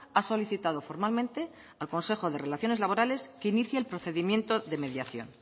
ha solicitado formalmente al consejo de relaciones laborales que inicie el procedimiento de mediación